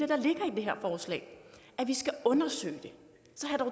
er vi skal undersøge det